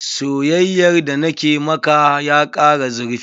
Soyayyar da na ke maka ya kara zurfi.